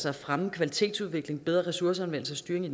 at fremme kvalitetsudviklingen bedre ressourceanvendelse styring i